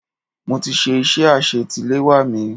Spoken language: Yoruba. Mo ti ṣe iṣẹ́ àsetiléwá mi.